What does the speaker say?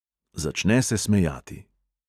Začne se smejati.